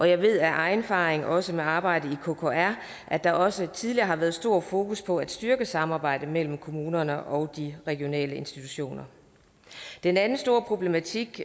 jeg ved af egen erfaring også fra arbejdet i kkr at der også tidligere har været stort fokus på at styrke samarbejdet mellem kommunerne og de regionale institutioner den anden store problematik